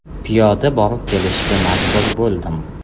Piyoda borib kelishga majbur bo‘ldim.